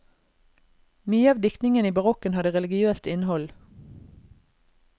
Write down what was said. Mye av diktningen i barokken hadde religiøst innhold.